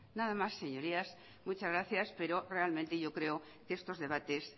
nada más señorías muchas gracias pero realmente yo creo que estos debates